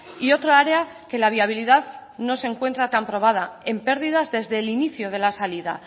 y otra área que la viabilidad no se encuentra tan probada en pérdidas desde el inicio de la salida